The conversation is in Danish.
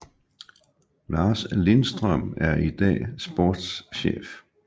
Lars Lindstrøm er i dag sportschef